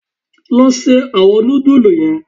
Lọ ṣe awọn nudulú yen!